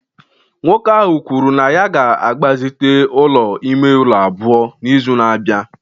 nwoke ahụ kwuru na ya ga-agbazite ụlọ ime ụlọ abụọ n'izu na-abịa